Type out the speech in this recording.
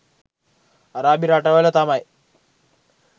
අරාබි රටවල තමයි